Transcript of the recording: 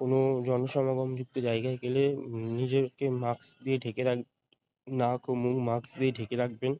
কোনো জনসমাগম যুক্ত জায়গায় গেলে উম নিজেকে মাস্ক দিয়ে ঢেকে রাখ নাক ও মুখ মাস্ক দিয়ে ঢেকে রাখবেন।